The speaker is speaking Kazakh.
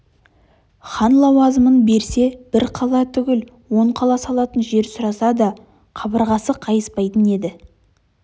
хан лауазымын берсе бір қала түгіл он қала салатын жер сұраса да қабырғасы қайыспайтын еді